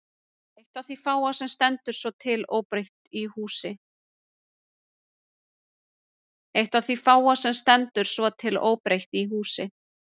Eitt af því fáa sem stendur svo til óbreytt í húsi